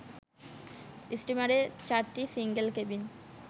স্টিমারে ৪টি single cabin